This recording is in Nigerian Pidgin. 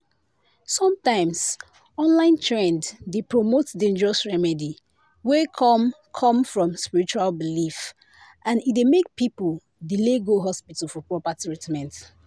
sometimes online trend dey promote dangerous remedy wey come come from spiritual belief and e dey make people delay go hospital for proper treatment.